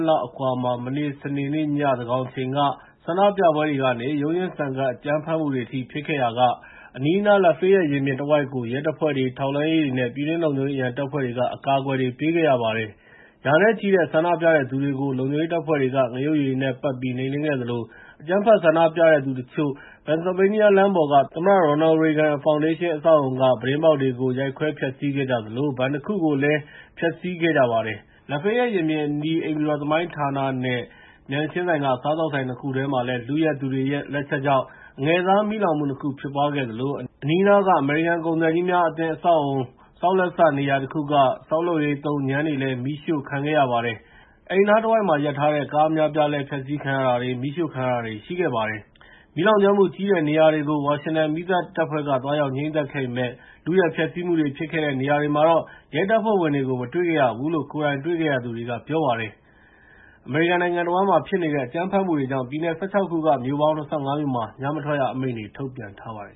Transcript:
လောက် အကွာမှာ မနေ့ စနေနေ့ည သန်းခေါင်အချိန်က ဆန္ဒပြပွဲတွေကနေ ရုန်းရင်းဆန်ခတ် အကြမ်းဖက်မှုတွေ ဖြစ်ခဲ့ရာက အနီးအနား Lafeyette ရင်ပြင်တဝိုက်ကို ရဲတပ်ဖွဲ့တွေ၊ ထောက်လှမ်းရေးတွေ၊ ပြည်တွင်းလုံခြုံရေး အရန်တပ်ဖွဲ့တွေနဲ့ အကာအကွယ် ပေးခဲ့ရပါတယ်။ ရာနဲ့ချီတဲ့ ဆန္ဒပြသူတွေကို လုံခြုံရေးတပ်ဖွဲ့တွေက ငရုတ်ရည်တွေနဲ့ ပက်ပြီး နှိမ်နင်းခဲ့သလို အကြမ်းဖက် ဆန္ဒပြသူ တချို့ကတော့ Pennsylvania လမ်းမပေါ်က သမ္မတ Ronald Reagan ဖောင်ဒေးရှင်း အဆောက်အအုံက ပြတင်းပေါက်တွေကို ရိုက်ခွဲဖျက်ဆီးခဲ့ကြသလို ဘဏ်တခုကိုလည်း ဖျက်ဆီးခဲ့ကြပါတယ်။ Lafeyette ရင်ပြင်အနီး အိမ်ဖြူတော် သမိုင်းဌာနနဲ့ မျက်နှာချင်းဆိုင်က စားသောက်ဆိုင် ၂ ခုထဲမှာလည်း လုယက်သူတွေရဲ့ လက်ချက်ကြောင့် အငယ်စား မီးလောင်မှု ၂ ခု ဖြစ်ပွားခဲ့သလို အနီးအနားက အမေရိကန် ကုန်သည်ကြီးများအသင်း အဆောက်အအုံ ဆောက်လက်စနေရာတခုက ဆောက်လုပ်ရေးသုံး ငြမ်းတွေလည်း မီးရှို့ခံခဲ့ရပါတယ်။ အဲဒီနားတဝိုက်မှာ ရပ်ထားတဲ့ ကားအများအပြားလည်း ဖျက်ဆီးခံရတာတွေ မီးရှို့ခံရတာတွေ ရှိခဲ့ပါတယ်။ မီးလောင်ကျွမ်းမှုကြီးတဲ့ နေရာတွေကို ဝါရှင်တန်မီးသတ်တပ်ဖွဲ့က သွားရောက်ငြှိမ်းသတ်ခဲ့ပေမယ့် လုယက်ဖျက်ဆီးမှုတွေ ဖြစ်ခဲ့တဲ့ နေရာတွေမှာတော့ ရဲတပ်ဖွဲ့ဝင်တွေကို မတွေ့ရဘူးလို့လည်း ကိုယ်တိုင်တွေ့ခဲ့သူတချို့က ပြောပါတယ်။ အမေရိကန်နိုင်ငံတဝန်းမှာ ဖြစ်နေတဲ့ အကြမ်းဖက်မှုတွေကြောင့် ပြည်နယ် ၁၆ ခုက မြို့ပေါင်း ၂၅ မြို့မှာ ညမထွက်ရအမိန့်တွေ ထုတ်ပြန်ထားပါတယ်